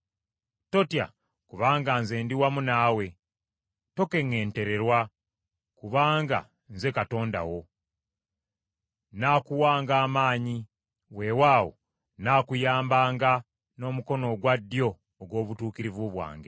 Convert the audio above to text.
Totya kubanga nze ndi wamu naawe; tokeŋŋentererwa, kubanga nze Katonda wo. Nnaakuwanga amaanyi. Wewaawo nnaakuyambanga n’omukono ogwa ddyo ogw’obutuukirivu bwange.”